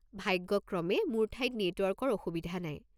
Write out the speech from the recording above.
ভাগ্যক্ৰমে মোৰ ঠাইত নেটৱৰ্কৰ অসুবিধা নাই।